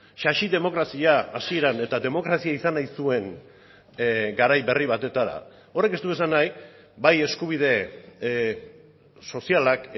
sasi demokrazia hasieran eta demokrazia izan nahi zuen garai berri batetara horrek ez du esan nahi bai eskubide sozialak